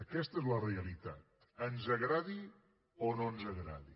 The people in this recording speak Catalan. aquesta és la realitat ens agradi o no ens agradi